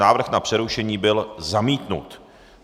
Návrh na přerušení byl zamítnut.